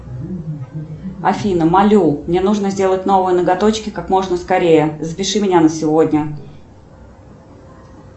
афина молю мне нужно сделать новые ноготочки как можно скорее запиши меня на сегодня